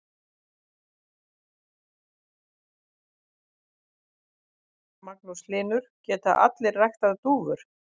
Magnús Hlynur: Geta allir ræktað dúfur?